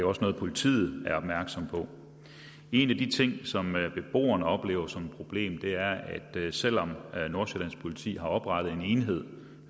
også noget politiet er opmærksomme på en af de ting som beboerne oplever som et problem er at selv om nordsjællands politi har oprettet en enhed